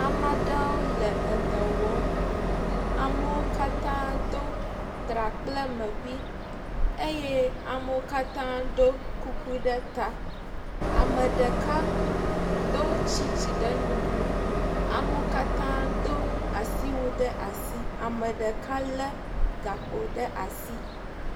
Amaɖewo le edɔwɔm amewokatã dó trakplemeƒi eye amewokatã ɖó kuku ɖe ta ameɖeka dó tsitsì ɖe nuku amewokatã dó asiwu ɖe asi ameɖeka le gakpo ɖe asi